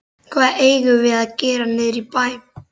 Hvað eigum við að gera niðri í bæ?